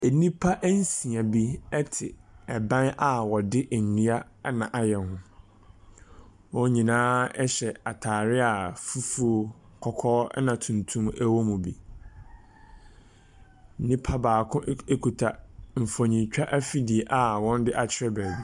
Nnipa nsia bi te ban a wɔde nnua na ayɛ ho. Wɔn nyinaa ɛhyɛ ataadeɛ a fufuo, tuntum na kɔkɔɔ wɔ mu bi. Nipa baako ɛk kita mfonintwa afidie a ɔde akyerɛ beebi.